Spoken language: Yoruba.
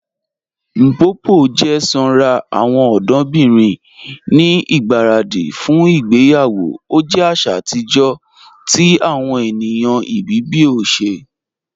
Mpopo jẹ sànra awọn ọdọbirin ni igbaradi fún ìgbèyawo, o jẹ àṣà atijọ̀ ti awọn ènìyàn Ibibio ṣẹ.